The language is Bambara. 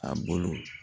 A bolo